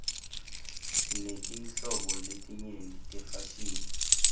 sinetinhlobo letenyeti tefashini